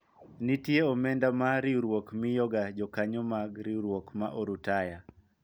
nitie omenda ma riwruok miyo ga jokanyo mag riwruok ma orutaya